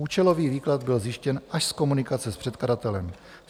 Účelový výklad byl zjištěn až z komunikace s předkladatelem.